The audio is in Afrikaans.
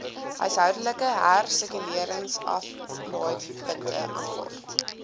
huishoudelike hersirkuleringsaflaaipunte aanvaar